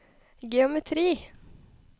geometri